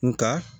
Nka